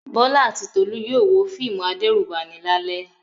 Bọ́lá àti Tolú yóò wo fíìmù adẹ́rùbani lálẹ́.